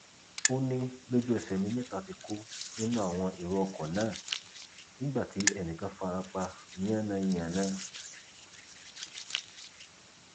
ó ní lójúẹsẹ ni mẹta ti kú nínú àwọn èrò ọkọ náà nígbà tí ẹnì kan fara pa yànńyànnà